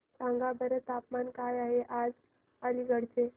सांगा बरं तापमान काय आहे आज अलिगढ चे